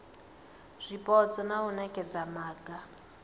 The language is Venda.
zwipotso na u nekedza maga